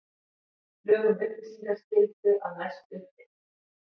Lög um upplýsingaskyldu að mestu uppfyllt